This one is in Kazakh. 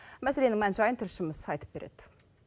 мәселенің мән жайын тілшіміз айтып береді